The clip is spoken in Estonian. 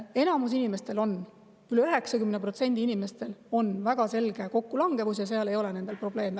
Enamik inimestel on, üle 90% inimestel on väga selge kokkulangevus ja seal ei ole probleeme.